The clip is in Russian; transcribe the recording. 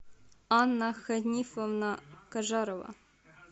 анна ханифовна кажарова